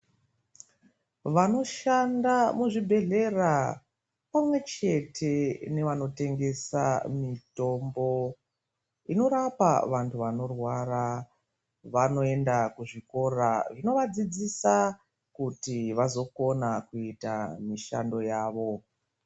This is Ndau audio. Vanoshanda muzvibhedhlera pamwechete nevanotengesa mitombo inorapa vantu vanorwara vanoenda kuzvikora zvinovadzidzisa kuti vazokona kuita mishando yawo.